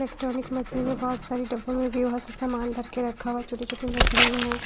Electronic machine है बहुत सारी डॉक्यूमेंट भी बहुत से सामान रखे रखा हुआ है छोटी छोटी मशीन हैं।